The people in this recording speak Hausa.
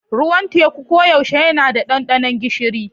Ruwan teku koyaushe yana da ɗanɗano gishiri.